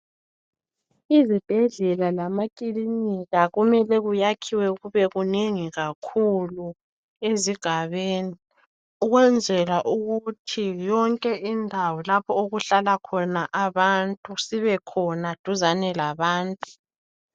Izibhedlela lamakilinika kumele kuyakhiwe kube kunengi kakhuku ezigabeni, ukwenzela ukuthi yonke indawo lapho okuhlala khona abantu sibekhona duzane labantu.